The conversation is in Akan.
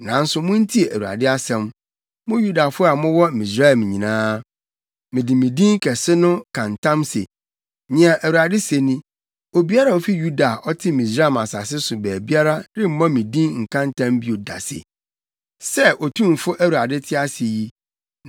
Nanso muntie Awurade asɛm, mo Yudafo a mowɔ Misraim nyinaa. Mede me din kɛse no ka ntam se, nea Awurade se ni, obiara a ofi Yuda a ɔte Misraim asase so baabiara remmɔ me din nka ntam bio da se, “Sɛ Otumfo Awurade te ase yi.”